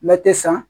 Mɛ tɛ san